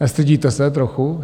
Nestydíte se trochu?